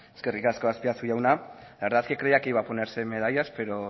eskerrik asko azpiazu jauna la verdad que creía que iba a ponerse medallas pero